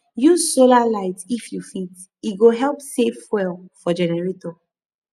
use solar light if you fit e go help save fuel for generator